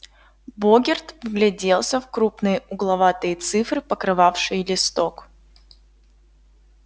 богерт вгляделся в крупные угловатые цифры покрывавшие листок